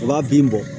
U b'a bin bɔ